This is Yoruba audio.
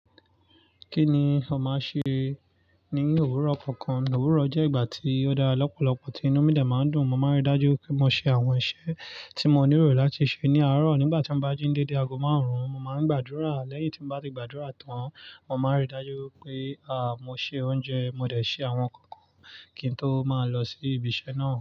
Kí ni o má ń ṣe ní òwúrọ̀ kankan? Òwúrọ̀ jẹ́ ìgbà tí ó dára lọ́pọ̀lọpọ̀, tí inú mi lè máa ń dùn. Mo máa ń rí dájú pé mo ṣe àwọn iṣẹ́ tí mo níro láti ṣe ní àárọ̀. Nígbà tí mo bá jí dédé, ago máa ń rùn. Mo máa ń gbàdúrà. Lẹ́yìn tí mo bá ti gbàdúrà tán, mo máa ń rí dájú pé, àá, mo ṣe oúnjẹ, mo dẹ̀ ṣe àwọn nǹkan kí n tó máa lọ sí ibi iṣẹ́ náà.